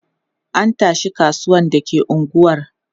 An tashi kasuwan da ke unguwar.